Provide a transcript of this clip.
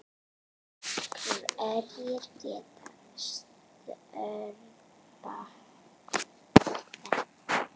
Hverjir geta stöðvað þetta?